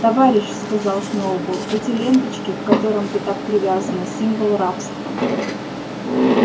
товарищ сказал сноуболл эти ленточки к которым ты так привязана символ рабства